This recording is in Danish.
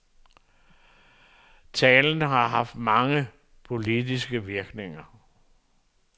Talen har haft mange politiske virkninger.